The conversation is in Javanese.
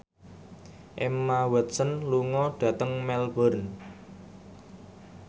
Emma Watson lunga dhateng Melbourne